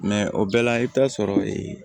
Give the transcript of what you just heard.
o bɛɛ la i bɛ taa sɔrɔ ee